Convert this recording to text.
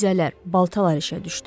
Nizələr, baltalar işə düşdü.